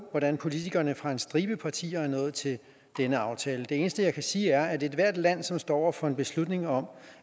hvordan politikerne fra en stribe partier er nået til den aftale det eneste jeg kan sige er at hvis ethvert land som står over for en beslutning om